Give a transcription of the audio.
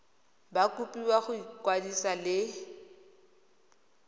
ba kopiwa go ikwadisa le